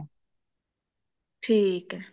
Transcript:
ਠੀਕ ਆ